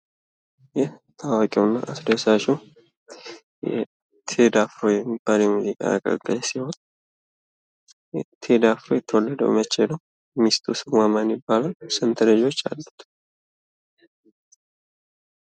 ይህ ታዋቂው እና አስደሳቹ ቴዲ አፍሮ የሚባል የሙዚቃ አቀንቃኝ ሲሆን ቴዲ አፍሮ የተወለደው መቼ ነው? ሚስቱ ስሟ ማን ይባላል? ስንት ልጆች አሉት?